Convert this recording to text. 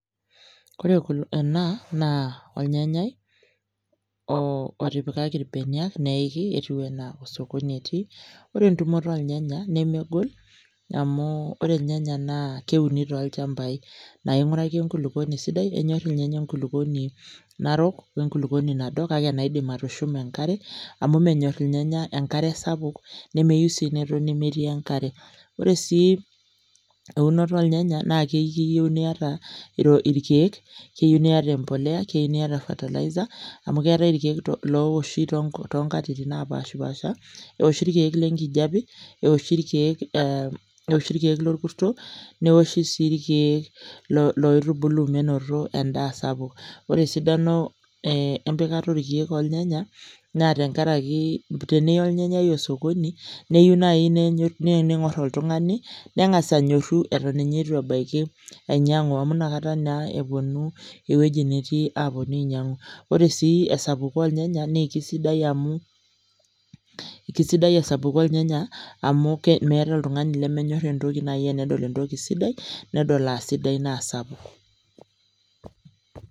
Kore enaa naa olnyanyai oo otipikaki ilbenia neiki etiu anaa osokoni etii . Ore entumoto oolnyanya nemegol amuu ore ilnyanya naa keuni toolchambai naing'uraki enkulukuoni sidai. Enyorr ilnyanya enkulukuoni narok oenkulukuoni nado kake enaidim atushuma enkare amu menyorr ilnyanya enkare sapuk nemeyou sii netoni metii enkare. Ore sii eunoto oolnyanya naake kiyeu niata irkeek, keyiu niata empolea, keyiu niata  fertilizer amu keetai ilkeek loowoshi toonkatitin napaashpaasha. Ewoshi ilkeek lenkijape, ewoshi ilkeek ee ewoshi ilkeek lokurto newoshi sii ilkeek loitubulu menoto endaa sapuk. Ore sidano eenempikata olkeek oolnyanya naa tengarakii teniya olnyanyai osokoni neyou nai neening'orr oltung'ani neng'as anyorru eton ninye eitu ebaiki ainyang'u amu nakata naa epuonu ewueji netii aapuonu ainyang'u, ore sii esapuko oolnyanya naakesidai amu kesidai esapuko olnyanya amu meeta oltung'ani lemenyorr nai enedol entoki sidai nedol aasidai naasapuk.